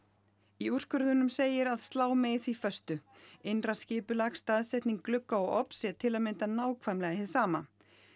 í úrskurðinum segir að slá megi því föstu innra skipulag staðsetning glugga og ofns sé til að mynda nákvæmlega hin sama